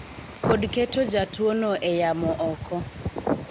kod keto jatuo no e yamo oko